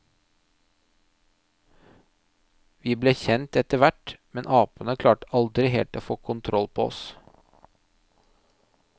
Vi ble kjent etter hvert, men apene klarte aldri helt å få kontroll på oss.